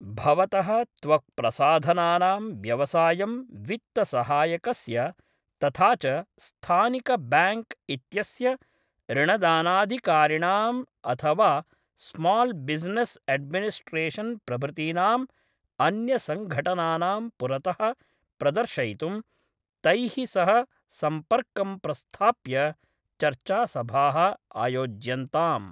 भवतः त्वक्प्रसाधनानां व्यवसायं वित्तसहायकस्य तथा च स्थानिकब्याङ्क् इत्यस्य ऋणदानाधिकारिणाम् अथ वा स्माल् बिजनेस् एडमिनिस्ट्रेशन् प्रभृतीनाम् अन्यसंघटनानां पुरतः प्रदर्शयितुं तैः सह सम्पर्कं प्रस्थाप्य चर्चासभाः आयोज्यन्ताम्।